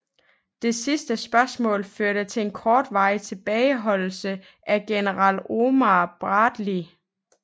Det sidste spørgsmål førte til en kortvarig tilbageholdelse af general Omar Bradley